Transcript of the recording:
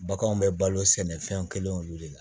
Baganw bɛ balo sɛnɛ fɛn kelenw de la